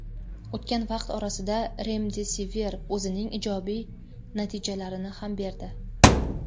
O‘tgan vaqt orasida "Remdesivir" o‘zining ijobiy natijalarini ham berdi.